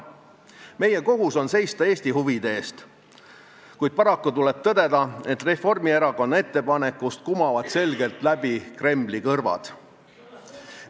Meie kohus on seista Eesti huvide eest, kuid paraku tuleb tõdeda, et Reformierakonna ettepanekust kumavad selgelt läbi Kremli kõrvad.